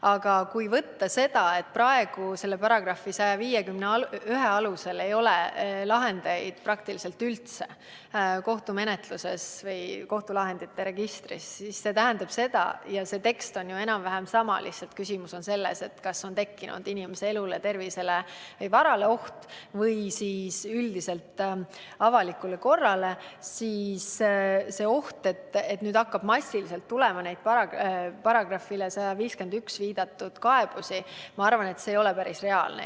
Aga kui arvestada seda, et praegu selle § 151 alusel ei ole kohtumenetluses või kohtulahendite registris lahendeid praktiliselt üldse, siis see tähendab seda – ja see tekst on ju enam-vähem sama, lihtsalt küsimus on selles, kas tekkinud on oht inimese elule, tervisele või varale või siis üldiselt avalikule korrale –, et see oht, et nüüd hakkab massiliselt tulema neid §-ile 151 tuginevaid kaebusi, ei ole minu arvates päris reaalne.